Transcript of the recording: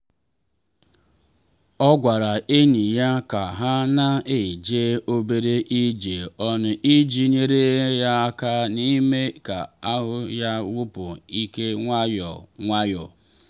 o gwara enyi ya ka ha na eje obere ije ọnụ iji nyere ya aka n’ime ka ahụ ya wụpụ ike nwayọ nwayọ.